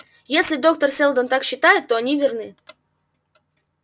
если доктор сэлдон так считает то они верны